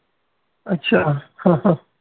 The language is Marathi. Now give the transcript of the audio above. अच्छा हा हा